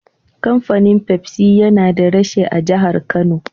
Kafanin Pepsi yana da reshe a jahar Kano.